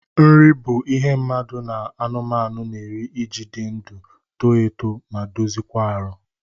Nri bụ ihe mmadụ na anụmanụ n'eri iji dị ndụ, too etu ma dozie kwa ahụ.